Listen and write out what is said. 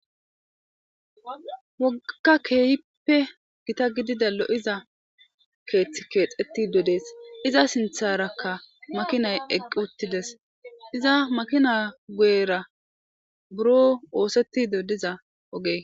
Woga kehipe gita gididay looza keethi ketetid deasi iza sintaraka makinay eqi utideasi iza makinay guyera biroo othetiza diza ooge.